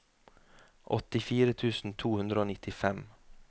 åttifire tusen to hundre og nittifem